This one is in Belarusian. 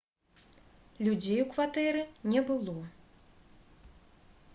людзей у кватэры не было